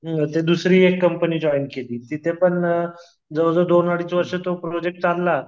दुसरी एक company join केली तिथे पण जवळ जवळ दोन अडीच वर्ष तो प्रोजेक्ट चालला.